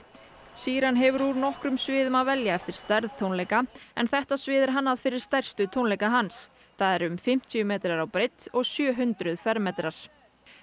sheeran hefur úr nokkrum sviðum að velja eftir stærð tónleika en þetta svið er hannað fyrir stærstu tónleika hans það er fimmtíu metrar á breidd og sjö hundruð fermetrar